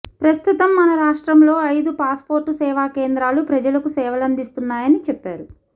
ప్రస్తుతం మన రాష్ట్రంలో ఐదు పాస్పోర్టు సేవా కేంద్రాలు ప్రజలకు సేవలందిస్తున్నాయని చెప్పారు